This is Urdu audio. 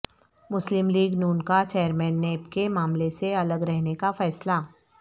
مسلم لیگ ن کا چیئرمین نیب کے معاملے سے الگ رہنے کا فیصلہ